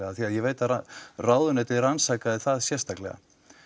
af því að ég veit að ráðuneytið rannsakaði það sérstaklega